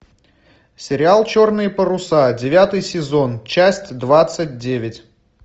сериал черные паруса девятый сезон часть двадцать девять